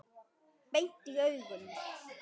Beint í augun.